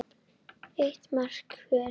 Eitt mark hver.